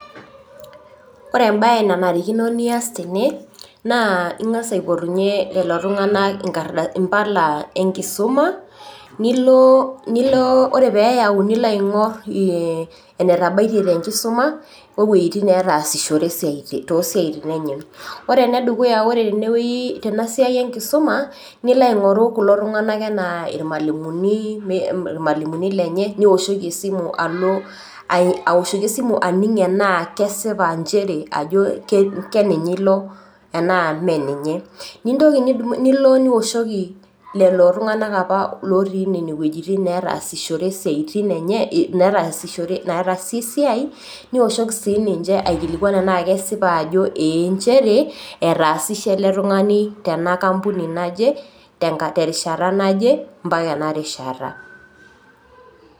Ore embae nanarikino nias tene, naa ing'as aipotunye lelo tung'ana Impala enkisuma, nilo ore pee ilo aing'or enetabaiye te enkisuma o ewueji netaasishore to isiaitin enye. Ore ene dukuya ore tenewueji ena siai enkisuma nilo aingoru kulo tung'ana anaa ilmwalimuni lenye nioshoki esimu alo aoshoki esimu aning' tanaa esipa nchere keninye ilo anaa Mee ninye. Nintoki nidumunye nilo nioshoki lelo tung'ana opa otii ine wueji netaasishore isiaitin enye nataasie esiai, nioshoki sii ninche tanaake kesipa ajo ee nchere etaasishe ele tung'ani tenkapuni naje, terishata naje mpaka ena rishata.